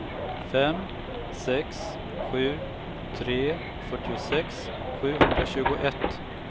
fem sex sju tre fyrtiosex sjuhundratjugoett